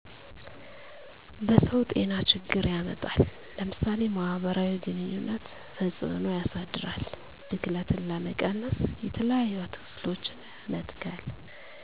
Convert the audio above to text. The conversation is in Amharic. በሰዉ ጤናችግር ያመጣል ለምሳሌ ማህበራዊ ግኑኝነት ተፅእኖ ያሳድራል ብክለትን ለመቀነስ የተለያዪ አትክልቶችን መትከል።